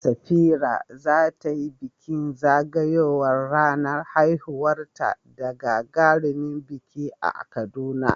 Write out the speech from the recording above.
Safira za ta yi bikin zagayowar ranar haihuwarta da gagarumin biki a Kaduna.